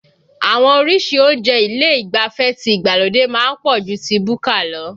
Àwọn orísìí oúnjẹ ilé ìgbafẹ́ ti ìgbàlódé má ń pọ̀ ju ti búkà lọ